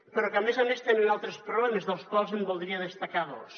però que a més a més tenen altres problemes dels quals en voldria destacar dos